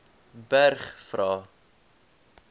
berg vra